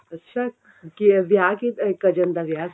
ਅੱਛਾ ਵਿਆਹ ਕੀ cousin ਦਾ ਵਿਆਹ ਸੀ